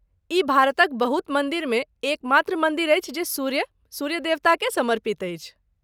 ई भारतक बहुत मंदिर मे एकमात्र मन्दिर अछि जे सूर्य, सूर्य देवताकेँ समर्पित अछि।